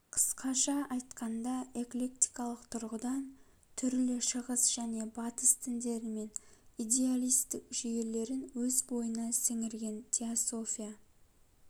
қысқаша айтқанда эклектикалык тұрғыдан түрлі шығыс және батыс діндері мен идеалистік жүйелерін өз бойына сіңірген теософия